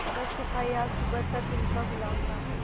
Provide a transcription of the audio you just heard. वह सिपाही आज सुबह तक इनका गुलाम था